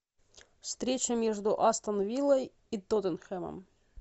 встреча между астон виллой и тоттенхэмом